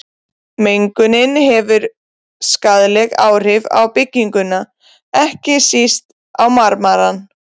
Mengunin hefur skaðleg áhrif á bygginguna, ekki síst á marmarann.